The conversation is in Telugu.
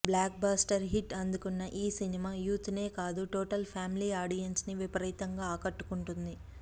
బ్లాక్ బస్టర్ హిట్ అందుకున్న ఈ సినిమా యూత్ నే కాదు టోటల్ ఫ్యామిలీ ఆడియన్స్ ని విపరీతంగా ఆకట్టుకుంది